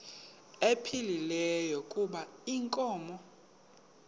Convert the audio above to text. ephilile kuba inkomo